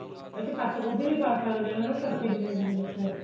ਇਹਦੇ ਚ ਪੱਤ ਗੋਭੀ ਵੀ ਪਾ ਸਕਦੇ ਹਾਂ ਜਿਵੇਂ ਤੁਸੀਂ ਦੱਸਿਆ